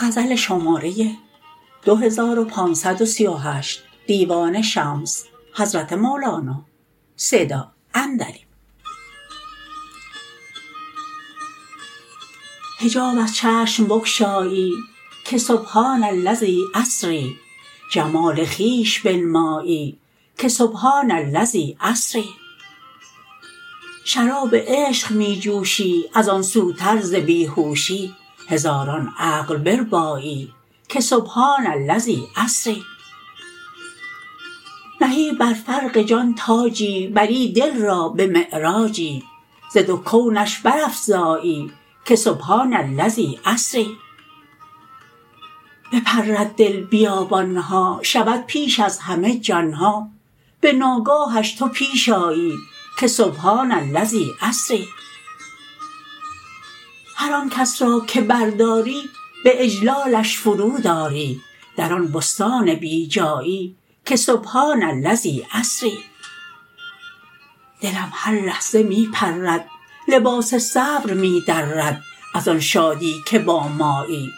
حجاب از چشم بگشایی که سبحان الذی اسری جمال خویش بنمایی که سبحان الذی اسری شراب عشق می جوشی از آن سوتر ز بی هوشی هزاران عقل بربایی که سبحان الذی اسری نهی بر فرق جان تاجی بری دل را به معراجی ز دو کونش برافزایی که سبحان الذی اسری بپرد دل بیابان ها شود پیش از همه جان ها به ناگاهش تو پیش آیی که سبحان الذی اسری هر آن کس را که برداری به اجلالش فرود آری در آن بستان بی جایی که سبحان الذی اسری دلم هر لحظه می پرد لباس صبر می درد از آن شادی که با مایی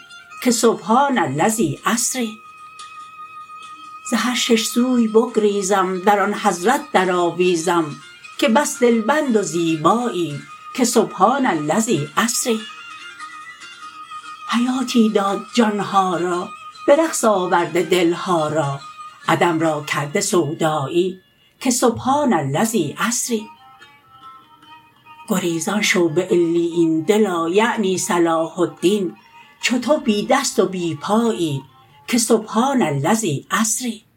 که سبحان الذی اسری ز هر شش سوی بگریزم در آن حضرت درآویزم که بس دلبند و زیبایی که سبحان الذی اسری حیاتی داد جان ها را به رقص آورده دل ها را عدم را کرده سودایی که سبحان الذی اسری گریزان شو به علیین دلا یعنی صلاح الدین چو تو بی دست و بی پایی که سبحان الذی اسری